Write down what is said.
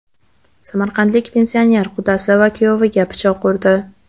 Samarqandlik pensioner qudasi va kuyoviga pichoq urdi.